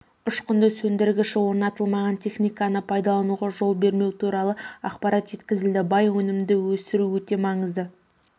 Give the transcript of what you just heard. ұшқынды сөндіргіші орнатылмаған техниканы пайдалануға жол бермеу туралы ақпарат жеткізілді бай өнімді өсіру өте маңызды